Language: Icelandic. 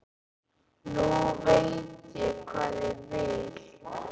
Nú veit ég hvað ég vil.